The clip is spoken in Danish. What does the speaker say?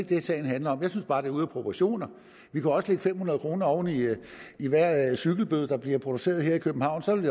det sagen handler om jeg synes bare det er ude af proportioner vi kunne også lægge fem hundrede kroner oven i i hver en cyklistbøde der bliver udstedt her i københavn så vil